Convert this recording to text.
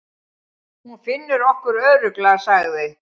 Hún finnur okkur örugglega, sagði